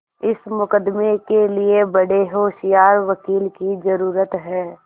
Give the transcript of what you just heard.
इस मुकदमें के लिए बड़े होशियार वकील की जरुरत है